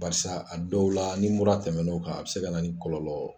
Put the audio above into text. Barisa a dɔw la ni mura tɛmɛna na o kan a bɛ se ka na ni kɔlɔlɔ